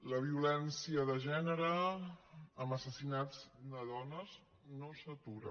la violència de gènere amb assassinats de dones no s’atura